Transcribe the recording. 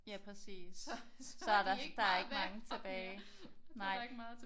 Ja præcis. Så er der der er ikke mange tilbage nej